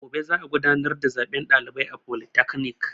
Gobe za a gudanar da zaben ɗalibai a folitakanik